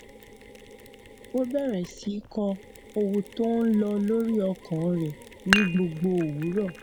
ó bẹrẹ sí í kọ ohun tó ń lọ lórí ọkàn rẹ ní gbogbo òwúrọ